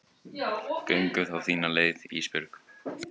Göngum þá þína leið Ísbjörg.